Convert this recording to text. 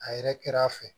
A yɛrɛ kɛra a fɛ